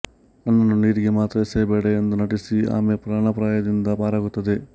ನನ್ನನ್ನು ನೀರಿಗೆ ಮಾತ್ರ ಎಸೆಯಬೇಡ ಎಂದು ನಟಿಸಿ ಆಮೆ ಪ್ರಾಣಾಪಾಯದಿಂದ ಪಾರಾಗುತ್ತದೆ